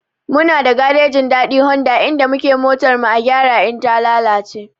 Muna da garejin Dadi Honda inda muke motar mu a gyara idan ta lalace.